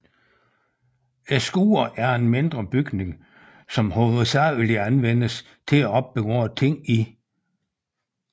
Et skur er en mindre bygning som hovedsageligt anvendes til at opbevare ting i